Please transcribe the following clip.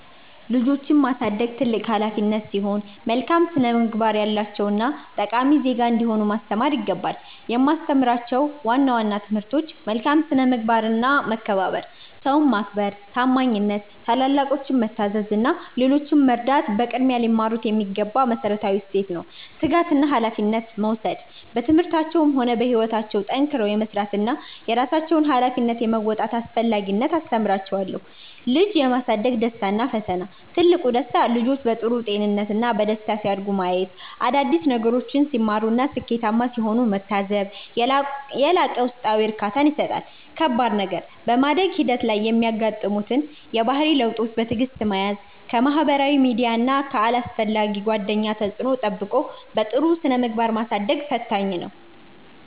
ልጆችን ማሳደግ ትልቅ ኃላፊነት ሲሆን፣ መልካም ስነ-ምግባር ያላቸውና ጠቃሚ ዜጋ እንዲሆኑ ማስተማር ይገባል። የማስተምራቸው ዋና ዋና ትምህርቶች፦ መልካም ስነ-ምግባርና መከባበር፦ ሰውን ማክበር፣ ታማኝነት፣ ታላላቆችን መታዘዝ እና ሌሎችን መርዳት በቅድሚያ ሊማሩት የሚገባ መሠረታዊ እሴት ነው። ትጋትና ኃላፊነት መውሰድ፦ በትምህርታቸውም ሆነ በሕይወታቸው ጠንክረው የመሥራትንና የራሳቸውን ኃላፊነት የመወጣትን አስፈላጊነት አስተምራቸዋለሁ። ልጅ የማሳደግ ደስታና ፈተና፦ ትልቁ ደስታ፦ ልጆች በጥሩ ጤንነትና በደስታ ሲያድጉ ማየት፣ አዳዲስ ነገሮችን ሲማሩና ስኬታማ ሲሆኑ መታዘብ የላቀ ውስጣዊ እርካታን ይሰጣል። ከባድ ነገር፦ በማደግ ሂደት ላይ የሚያጋጥሙትን የባህሪ ለውጦች በትዕግሥት መያዝ፣ ከማኅበራዊ ሚዲያና ከአላስፈላጊ ጓደኞች ተጽዕኖ ጠብቆ በጥሩ ስነ-ምግባር ማሳደጉ ፈታኝ ነው።